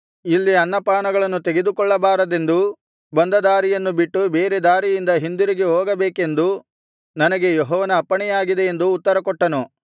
ಇಲ್ಲಿ ಅನ್ನಪಾನಗಳನ್ನು ತೆಗೆದುಕೊಳ್ಳಬಾರದೆಂದೂ ಬಂದ ದಾರಿಯನ್ನು ಬಿಟ್ಟು ಬೇರೆ ದಾರಿಯಿಂದ ಹಿಂದಿರುಗಿ ಹೋಗಬೇಕೆಂದು ನನಗೆ ಯೆಹೋವನ ಅಪ್ಪಣೆಯಾಗಿದೆ ಎಂದು ಉತ್ತರಕೊಟ್ಟನು